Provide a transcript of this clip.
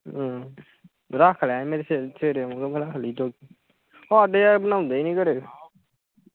ਰਖਲਿਆ ਮੈ ਸਵੇਰੇ ਸਵੇਰੇ ਆਉਗਾ ਰਖਲੀ ਥੋੜੀ ਜੀ। ਹਾਡੇ ਯਾਰ ਬਣਾਓਂਦੇ ਨਹੀਂ ਘਰੇ